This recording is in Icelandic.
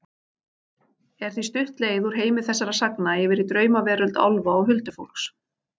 Er því stutt leið úr heimi þessara sagna yfir í draumaveröld álfa og huldufólks.